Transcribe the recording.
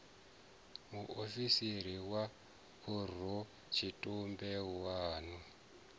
muofisiri wa khorotshitumbe wa vun